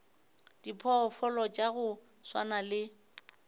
diphoofolo tša go swana le